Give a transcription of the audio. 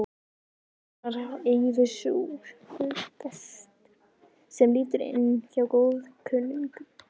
Eins og hver annar aufúsugestur sem lítur inn hjá góðkunningjum.